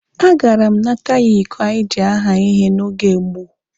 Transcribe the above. A gara m nata ya iko anyị ji haa ihe n'oge gboo.